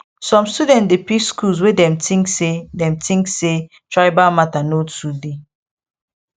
some students dey pick schools wey dem think say dem think say tribal matter no too dey